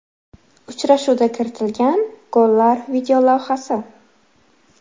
Uchrashuvda kiritilgan gollar videolavhasi.